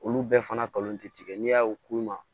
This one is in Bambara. Olu bɛɛ fana kalon ti tigɛ n'i y'a ko i ma